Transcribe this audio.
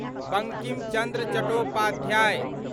Bankim Chandra Chattopadhyay